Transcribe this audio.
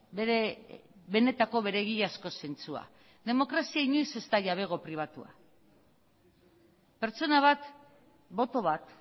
bere benetako bere egiazko zentzua demokrazia inoiz ez da jabego pribatua pertsona bat boto bat